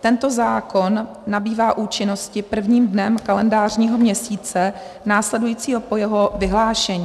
Tento zákon nabývá účinnosti prvním dnem kalendářního měsíce následujícího po jeho vyhlášení.